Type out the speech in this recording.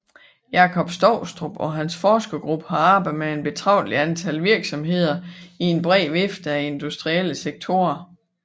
Jakob Stoustrup og hans forskergruppe har arbejdet med et betragteligt antal virksomheder i en bred vifte af industrielle sektorer